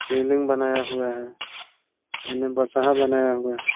शिवलिंग बनाया हुआ है एने बसहा बनाया हुआ है ।